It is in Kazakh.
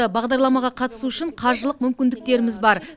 бағдарламаға қатысу үшін қаржылық мүмкіндіктеріміз бар